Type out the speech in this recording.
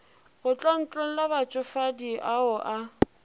go tlontlolla batšofadi ao a